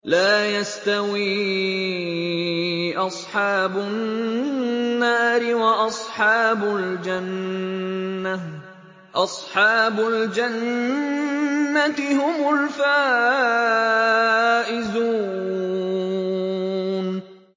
لَا يَسْتَوِي أَصْحَابُ النَّارِ وَأَصْحَابُ الْجَنَّةِ ۚ أَصْحَابُ الْجَنَّةِ هُمُ الْفَائِزُونَ